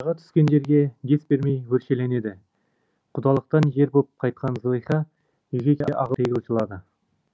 араға түскендерге дес бермей өршеленеді құдалықтан жер боп қайтқан зылиха үйге ағыл тегіл жылады